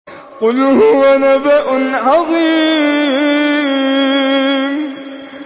قُلْ هُوَ نَبَأٌ عَظِيمٌ